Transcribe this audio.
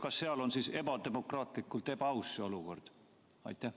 Kas seal on siis ebademokraatlikult ebaaus see olukord?